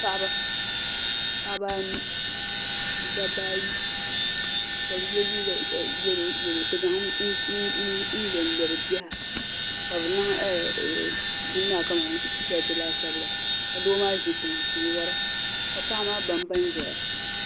Paɣiba , paɣiba anu ni daba ayi kabi ye liiga yɛlɔ yɛlɔ. n zaŋ bini. nlɔ bi biha, kabi niŋ maa sikeet laasabu la maa. zi tiŋa n wara ka paɣimaa babba zɛya